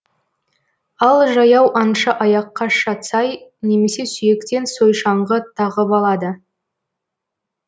ал жаяу аңшы аяққа шацай немесе сүйектен сойшаңғы тағып алады